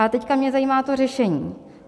A teď mě zajímá to řešení.